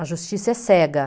A justiça é cega.